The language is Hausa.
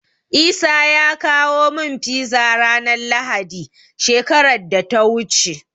Isa ya kawo min Fiza ranar Lahadi, shekarar da ta wuce.